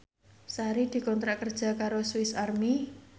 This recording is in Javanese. Sari dikontrak kerja karo Swis Army